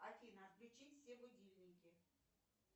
афина отключи все будильники